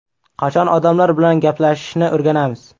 Qachon odamlar bilan gaplashishni o‘rganamiz.